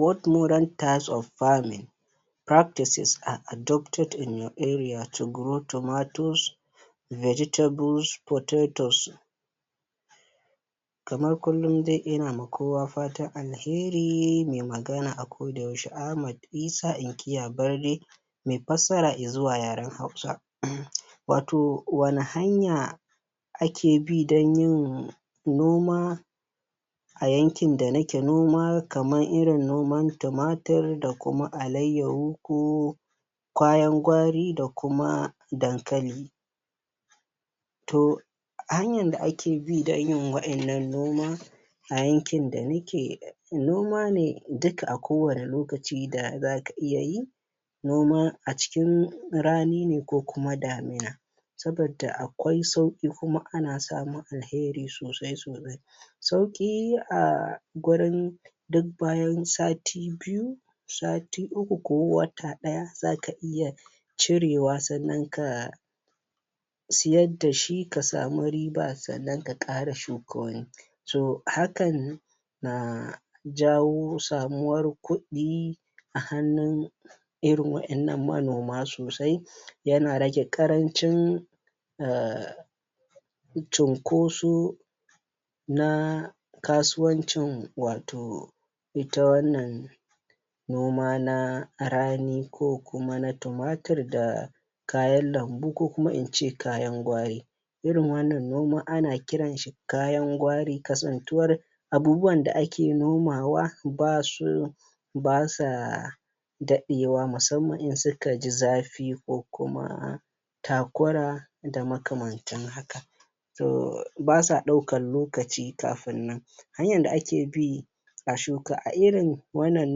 what modern types of farming Practices are adopted in our area to grow tormatoes vegitables potato Kamar kullum dai ina ma kowa fatan alheri mai magana a kodayaushe Ahmad Isah inkiya barda mai fassara i zuwa yaren Hausa. wato wane hanya ake bi don yin noma a yankin da nike noma kamar irin noma tumatur da kuma alayyaho ko kayan gwari da kuma dankali to hanyar da ake bi don yin wa'innan noma a yankin da nike Noma duk a kowane lokaci da za ka iya yi noma a cikin rani ne ko kuma damina. sabidda a kwai sauƙi kuma ana samun alheri sosai sosai. sauƙi a gurin duk bayan sati biyu sati uku ko wata ɗaya za ka iya cirewa sannan ka siyar da shi ka samu riba sannan ka ƙara shuka wani so hakan na jawo samuwar kuɗi a hannun irin waɗannan manoma sosai yana rage ƙarancin a cunkoso na kasuwancin wato ita wannan noma na rani ko kuma na tumatur da kayan lambu ko kuma in ce kayan gwari irin wannan noma ana kiran shi kayan gwari kasantuwar abubuwan da ake nomawa ba su ba sa daɗewa musamman in suka ji zafi fi ko kuma ta kura da makamantan haka. ba sa ɗaukar lokaci kafin nan hanyar da ake bi a shuka irin wannan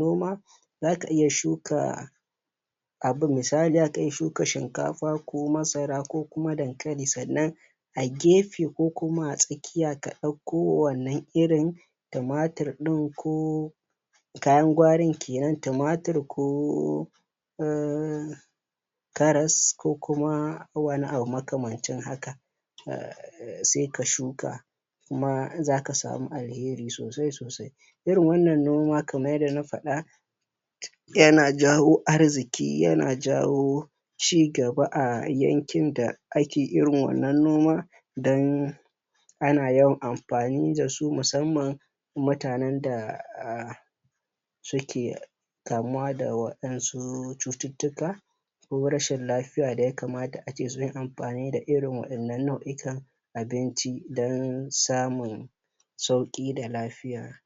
noma za ka iya shuka abu misali za ka iya shuka shinkafa ko masara ko kuma dankali sannan a gefe ko kuma a tsakiya sannan ka ɗauko wannan irin tumatur ɗin ko kayan gwarin ke nan tumatur ko karas ko kuma wani abu makamancin haka sai ka shuka kuma za ka samu alheri sosai sosai irin wannan noma kamar yadda na faɗa yana yawo arziƙi ya jawo ci gaba a yankin da ake irin wannan noma don ana yawan amfani da su musamman mutanen da a suke kamuwa da waɗansu cututtuka ko rashin lafiuya da ya kamata ake yin amfani da irin waɗannan nau'ikan abinci don samun sauƙi da lafiya